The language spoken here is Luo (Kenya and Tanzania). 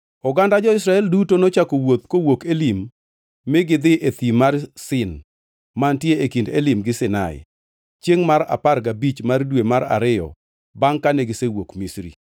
Oganda jo-Israel duto nochako wuoth kawuok Elim mi gidhi e thim mar Sin mantie e kind Elim gi Sinai, chiengʼ mar apar gabich mar dwe mar ariyo bangʼ kane gisewuok Misri.